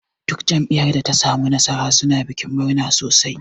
Duk jam'iyyar da ta samu nasara suna bikin murna sosai.